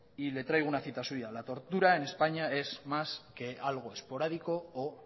y le traigo una cita suya la tortura en españa es más que algo esporádico o